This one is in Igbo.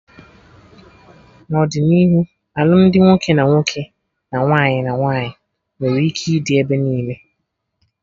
N'ọdịnihu alụmdi nwoke na nwoke, na nwaanyị na nwaanyị nwere ike ịdị ebe niile